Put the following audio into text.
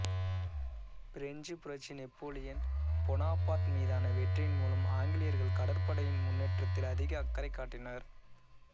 பிரெஞ்சுப் புரட்சி Napoleon Bonaparte மீதான வெற்றியின் மூலம் ஆங்கிலேயர்கள் கடற்படையின் முன்னேற்றத்தில் அதிக அக்கறை காட்டினர்